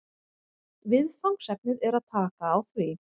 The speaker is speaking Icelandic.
Viðfangsefnið er að taka á því